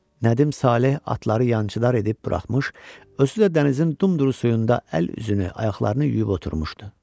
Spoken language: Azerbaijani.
Nədim Saleh atları yançıdar edib buraxmış, özü də dənizin dumduru suyunda əl-üzünü, ayaqlarını yuyub oturmuşdu.